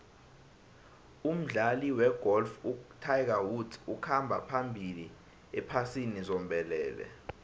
umdlali wegolf utiger woods ukhamba phambili ephasini zombelele